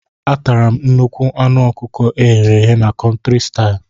Atara m nnukwu anụ ọkụkọ eghere eghe na Country style.